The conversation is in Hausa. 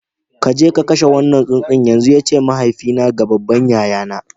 Ka je ku kashe wannan tsuntsun yanzu! ya ce mahaifina ga babban yayana